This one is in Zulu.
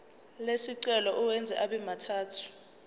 lesicelo uwenze abemathathu